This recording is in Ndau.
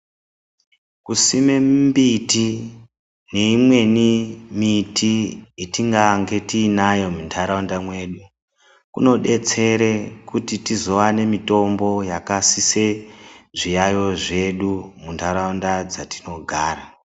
Kusime mimbiti neimweni miti yatingange tinayo munharaunda mwedu, kunodetsere kuti tizowane mitombo yakasise zviyaiyo zvedu munharaunda dzatinogara.